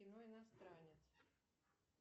кино иностранец